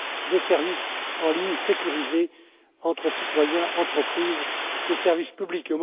des services en ligne sécurisés entre citoyens, entreprises et services